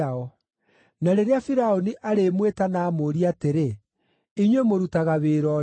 Na rĩrĩa Firaũni arĩmwĩta na amũũrie atĩrĩ, “Inyuĩ mũrutaga wĩra ũrĩkũ?”